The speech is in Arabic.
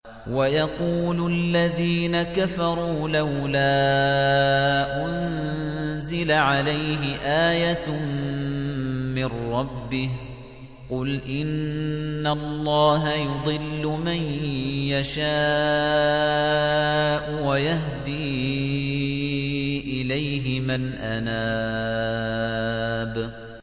وَيَقُولُ الَّذِينَ كَفَرُوا لَوْلَا أُنزِلَ عَلَيْهِ آيَةٌ مِّن رَّبِّهِ ۗ قُلْ إِنَّ اللَّهَ يُضِلُّ مَن يَشَاءُ وَيَهْدِي إِلَيْهِ مَنْ أَنَابَ